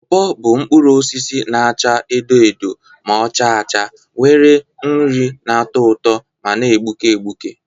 Pọọpọ bụ mkpụrụ osisi na-acha edo edo ma ọ chaa acha, nwere nri na-atọ ụtọ ma na-egbuke egbuke.